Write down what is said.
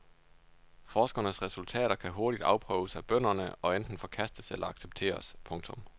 Forskernes resultater kan hurtigt afprøves af bønderne og enten forkastes eller accepteres. punktum